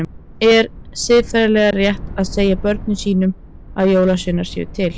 Er siðferðilega rétt að segja börnum sínum að jólasveinar séu til?